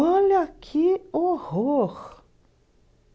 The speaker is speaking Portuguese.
Olha que horror.